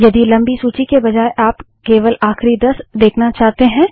यदि लम्बी सूची के बजाय आप केवल आखिरी दस देखना चाहते हैं